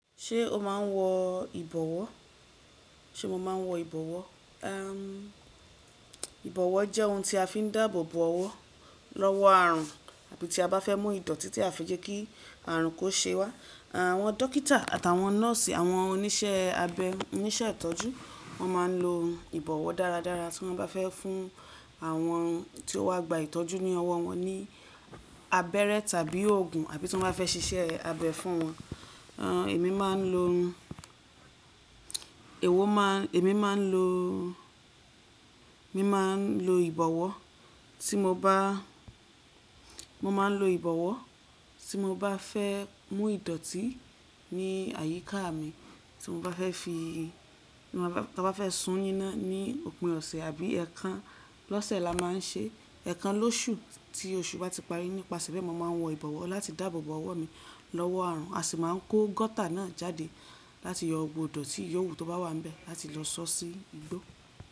Ṣé o máa ń wọ ìbọ̀wọ́? Ṣé mo ma ń wọ ìbọ̀wọ́? Ìbọ̀wọ́ jẹ́ ohun tí a fi ń dáàbò bo ọwọ́ lọ́wọ́ àrùn àbí tí a bá fẹ́ mú ìdọ̀tí tí à fẹ́ jẹ́ kí àrùn kó ṣe wá. Àwọn dókítà àtàwọn nọ́ọ̀sì, àwọn oníṣẹ́ abẹ oníṣẹ́ ìtọ́jú wọ́n máa ń lo ìbọ̀wọ́ dára dára tí wọ́n bá fẹ́ fún àwọn tí ó wá gba ìtọ́jú ní ọwọ́ wọn ní abẹ́rẹ́ tàbí òògùn àbí tí wọ́n bá fẹ́ ṣíṣẹ́ abẹ fún wọn. Emi máa ń lo, èwo máa, èmi máa ń lo, mi máa ń lo ìbọ̀wọ́ tí mo bá, mo máa ń lo ìbọ̀wọ́ tí mo bá fẹ́ mú ìdọ̀tí ní àyíká mi tí mo bá fẹ́ fi, tí mo bá, bá fẹ́ sún níná ní òpin ọ̀sẹ̀ àbí ẹ̀kan lọ́sẹ̀ la máa ń ṣe, ẹ̀kan lóṣù tí oṣù bá ti parí nípasẹ̀ bẹ́ẹ̀ mo máa ń wọ ìbọ̀wọ́ láti dáàbò bo ọwọ́ mi lọ́wọ́ àrùn a sì máa ń kó gọ́tà náà jáde láti yọ gbogbo ìdọ̀tí ìyówù tó bá wà níbẹ̀ láti lọ sọ sí igbó.